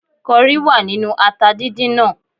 Kọrí wà nínú ata dídín náà